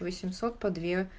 восемьсот по две